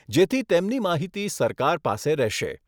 જેથી તેમની માહિતી સરકાર પાસે રહેશે.